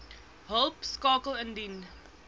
hulp skakel indien